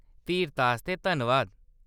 धीरता आस्तै धन्नवाद।